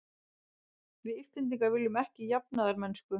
Við Íslendingar viljum ekki jafnaðarmennsku.